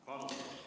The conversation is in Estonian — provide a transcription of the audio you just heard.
Palun!